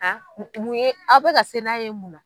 n mun ye a' bɛ ka se n'a ye mun na?